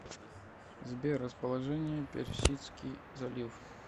сбер расположение персидский залив